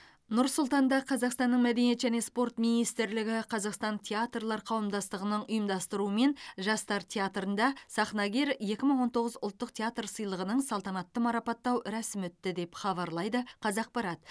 нұр сұлтанда қазақстанның мәдениет және спорт министрлігі қазақстан театрлар қауымдастығының ұйымдастыруымен жастар театрында сахнагер екі мың он тоғыз ұлттық театр сыйлығының салтанатты марапаттау рәсімі өтті деп хабарлайды қазақпарат